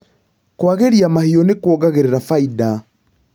Kũagĩria mahiũ nĩkuongagĩrĩra bainda.